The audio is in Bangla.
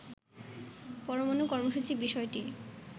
পরমাণু কর্মসূচির বিষয়টি